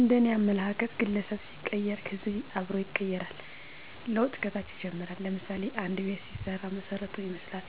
እንደኔ አመለካከት ግለሠብ ሲቀየር ሕዝብ አብሮ ይቀየራል። ለውጥ ከታች ይጀምራል ለምሳሌ፦ አንድ ቤት ሲሰራ መሠረቱን ይመስላል።